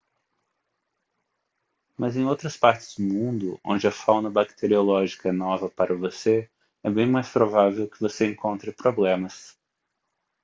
mas em outras partes do mundo onde a fauna bacteriológica é nova para você é bem mais provável que você encontre problemas